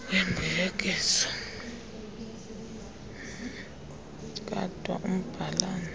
wembuyekezo kadwa umbhalana